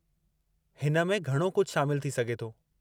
हिन में घणो कुझु शामिलु थी सघे थो।